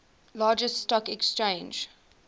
largest stock exchange